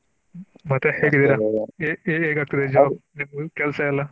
ಮತ್ತೆ ಹೇಗೆ ಆಗ್ತದೆ ಕೆಲಸ ಎಲ್ಲ?